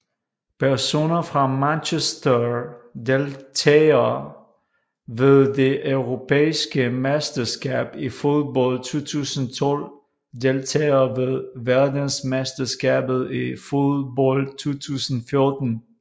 Personer fra Manchester Deltagere ved det europæiske mesterskab i fodbold 2012 Deltagere ved verdensmesterskabet i fodbold 2014